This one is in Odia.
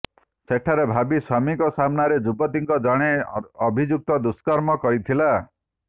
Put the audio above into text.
ସେଠାରେ ଭାବୀ ସ୍ୱାମୀଙ୍କ ସାମ୍ନାରେ ଯୁବତୀଙ୍କୁ ଜଣେ ଅଭିଯୁକ୍ତ ଦୁଷ୍କର୍ମ କରିଥିଲା